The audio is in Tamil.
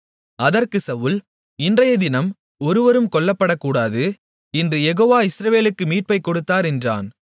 அதற்குச் சவுல் இன்றையதினம் ஒருவரும் கொல்லப்படக்கூடாது இன்று யெகோவா இஸ்ரவேலர்களுக்கு மீட்பைக் கொடுத்தார் என்றான்